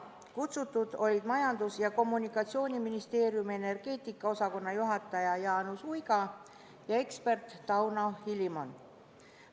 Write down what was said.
Kutsutud olid Majandus- ja Kommunikatsiooniministeeriumi energeetika osakonna juhataja Jaanus Uiga ja ekspert Tauno Hilimon.